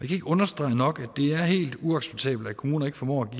kan ikke understrege nok at det er helt uacceptabelt at kommuner ikke formår